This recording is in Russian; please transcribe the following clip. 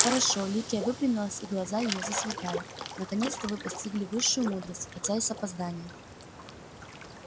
хорошо ликия выпрямилась и глаза её засверкали наконец-то вы постигли высшую мудрость хотя и с опозданием